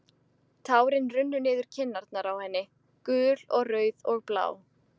Tárin runnu niður kinnarnar á henni, gul og rauð og blá.